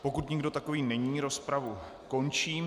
Pokud nikdo takový není, rozpravu končím.